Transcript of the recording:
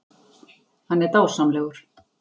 Hann er dásamlegur.